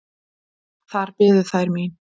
Þar biðu þær mín.